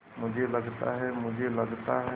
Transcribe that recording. मुझे लगता है मुझे लगता है